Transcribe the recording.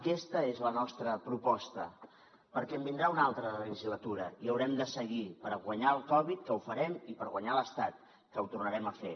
aquesta és la nostra proposta perquè en vindrà una altra de legislatura i haurem de seguir per guanyar la covid que ho farem i per guanyar l’estat que ho tornarem a fer